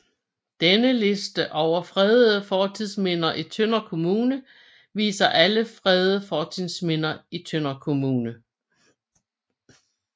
Denne liste over fredede fortidsminder i Tønder Kommune viser alle fredede fortidsminder i Tønder Kommune